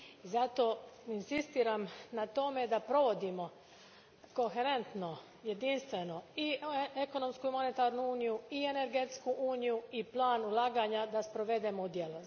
Zato, inzistiram na tome da provodimo koherentno i jedinstveno i ekonomsku monetarnu uniju i energetsku uniju i plan ulaganja, i da ih sprovedemo u djelo.